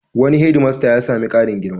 Wani hedmasta ya sami ƙarin girma.